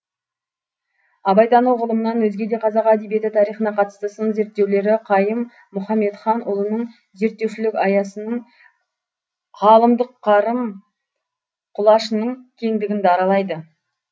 абайтану ғылымынан өзге де қазақ әдебиеті тарихына қатысты сын зерттеулері қайым мұхамедханұлының зерттеушілік аясының ғалымдық қарым құлашының кеңдігін даралайды